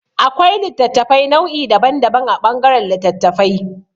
Akwai littattafai nau'i daban daban a ɓangaran littattafai.